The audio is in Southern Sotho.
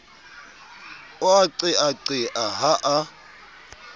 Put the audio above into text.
o a qeaqea ha a